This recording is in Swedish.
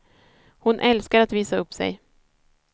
Hon älskar att visa upp sig.